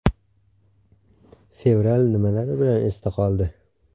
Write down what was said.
Fevral nimalari bilan esda qoldi?.